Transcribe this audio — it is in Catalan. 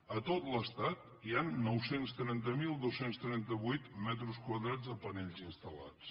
a tot l’estat hi han nou cents i trenta mil dos cents i trenta vuit metres quadrats de panells instal·lats